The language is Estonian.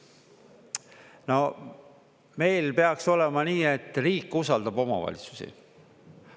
No meil peaks olema nii, et riik usaldab omavalitsusi.